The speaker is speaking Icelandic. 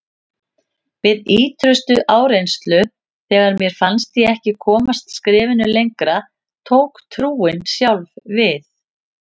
Við ýtrustu áreynslu, þegar mér fannst ég ekki komast skrefinu lengra, tók trúin sjálf við.